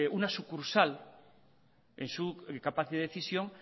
una sucursal en su capacidad de decisión